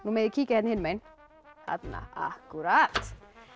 megið kíkja þarna hinum megin þarna akkúrat